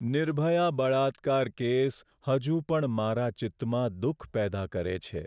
નિર્ભયા બળાત્કાર કેસ હજુ પણ મારા ચિત્તમાં દુઃખ પેદા કરે છે.